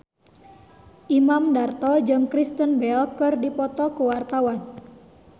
Imam Darto jeung Kristen Bell keur dipoto ku wartawan